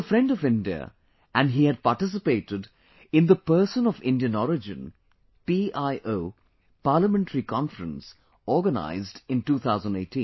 He is a friend of India and he had participated in the Person of Indian Origin PIO Parliamentary Conference organised in 2018